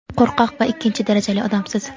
qo‘rqoq va ikkinchi darajali odamsiz.